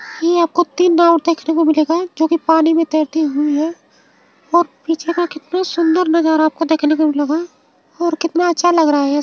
ये आपको तीन नाव देखने को मिलेगा जो कि पानी में तैरती हुई है और पीछे का कितना सुंदर नजारा आपको देखने को मिलेगा और कितना अच्छा लग रहा है।